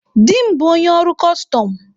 Di m bụ onye ọrụ kọstọm.